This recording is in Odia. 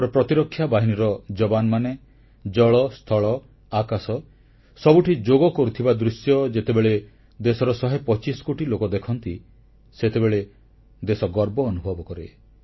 ଆମର ପ୍ରତିରକ୍ଷା ବାହିନୀର ଯବାନମାନେ ଜଳ ସ୍ଥଳ ଆକାଶ ସବୁଠି ଯୋଗ କରୁଥିବା ଦୃଶ୍ୟ ଯେତେବେଳେ ଦେଶର ଶହେ ପଚିଶ କୋଟି ଲୋକ ଦେଖନ୍ତି ସେତେବେଳେ ଦେଶ ଗର୍ବ ଅନୁଭବ କରେ